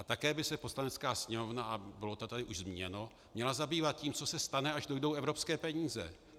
A také by se Poslanecká sněmovna, a bylo to tady už zmíněno, měla zabývat tím, co se stane, až dojdou evropské peníze.